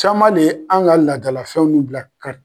Caman de ye anw ka laadalafɛnw bila kari